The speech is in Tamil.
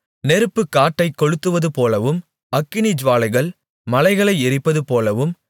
நெருப்பு காட்டைக் கொளுத்துவதுபோலவும் அக்கினி ஜூவாலைகள் மலைகளை எரிப்பது போலவும்